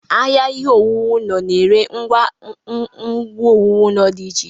Ahịa ihe owuwu ụlọ na-ere ngwa owuwu ụlọ dị iche iche.